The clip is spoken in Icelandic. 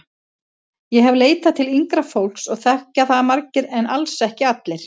Ég hef leitað til yngra fólks og þekkja það margir en alls ekki allir.